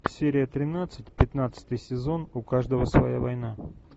серия тринадцать пятнадцатый сезон у каждого своя война